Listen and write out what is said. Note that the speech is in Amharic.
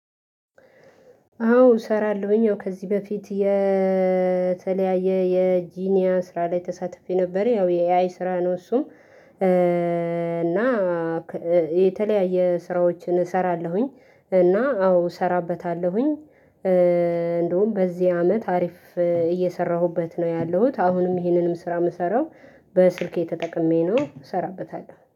አዎ እሰራለሁኝ አዎ ከዚህ በፊት የተለያየ የጂኒያ ስራ ላይ ተሳትፌ ነበር። ያው የኤአይ ስራ ነው። እሱም እና የተለያየ ስራዎችን እሰራለሁኝ። እና አዎ እሰራበታለሁኝ። እንደውም በዚህ አመት አሪፍ እየሰራሁበት ነው ያለሁት። አሁንም ይሄንንም ስራ የምሰራው በስልኬ ተጠቅሜ ነው እሰራበታለሁ